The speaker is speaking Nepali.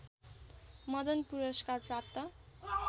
मदन पुरस्कार प्राप्त